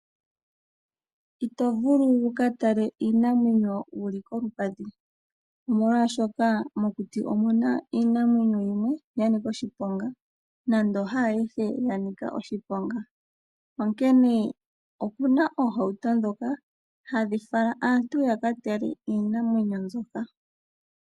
Ito vulu wuka tale iinamwenyo wu li kolupadhi, omolwaashoka mokuti omu na iinamwenyo yimwe yanika oshiponga, nando haayihe yanika oshiponga. Onkene oku na oohauto ndhoka hadhi fala aantu ya ka tale iinamwenyo mbyoka.